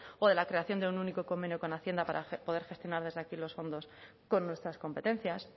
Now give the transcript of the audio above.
o de la creación de un único convenio con hacienda para poder gestionar desde aquí los fondos con nuestras competencias